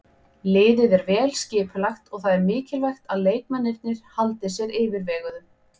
Liðið er vel skipulagt og það er mikilvægt að leikmennirnir haldi sér yfirveguðum.